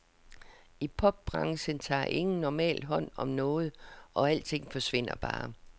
I popbranchen tager ingen normalt hånd om noget, og alting forsvinder bare.